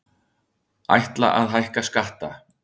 Ætla að hækka skatta